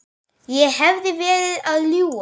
Ég hefði verið að ljúga.